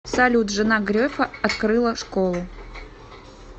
салют жена грефа открыла школу